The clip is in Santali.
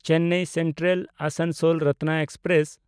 ᱪᱮᱱᱱᱟᱭ ᱥᱮᱱᱴᱨᱟᱞ–ᱟᱥᱟᱱᱥᱳᱞ ᱨᱚᱛᱱᱚ ᱮᱠᱥᱯᱨᱮᱥ